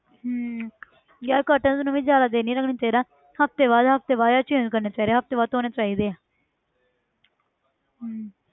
ਹਮ ਯਾਰ curtain ਨੂੰ ਵੀ ਜ਼ਿਆਦਾ ਦਿਨ ਨਹੀਂ ਰੱਖਣਾ ਚਾਹੀਦਾ ਹਫ਼ਤੇ ਬਾਅਦ ਹਫ਼ਤੇ ਬਾਅਦ change ਕਰਨਾ ਚਾਹੀਦਾ ਹਫ਼ਤੇ ਬਾਅਦ ਧੌਣੇ ਚਾਹੀਦੇ ਹੈ ਹਮ